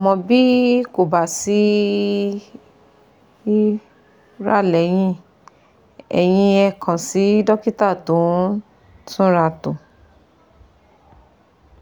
Àmọ́ bí kò bá sí ìura lẹ́yìn èyí ẹ kàn sí dọ́kítà tó ń túnratò